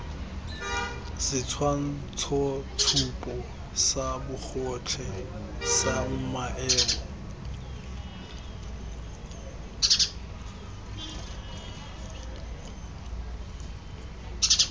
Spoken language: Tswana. setshwantshotshupo sa bogotlhe sa maemo